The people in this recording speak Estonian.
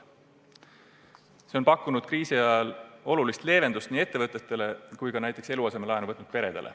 See on pakkunud kriisi ajal olulist leevendust nii ettevõtetele kui ka näiteks eluasemelaenu võtnud peredele.